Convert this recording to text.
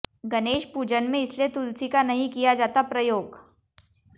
गणेश पूजन में इसलिए तुलसी का नहीं किया जाता प्रयोग